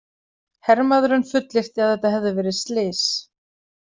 Hermaðurinn fullyrti að þetta hefði verið slys.